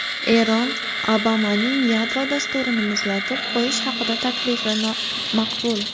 Eron: Obamaning yadro dasturini muzlatib qo‘yish haqidagi taklifi nomaqbul.